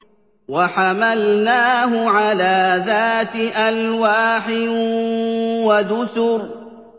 وَحَمَلْنَاهُ عَلَىٰ ذَاتِ أَلْوَاحٍ وَدُسُرٍ